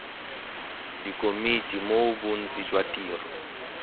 dikomiti moo bontsi jwa tiro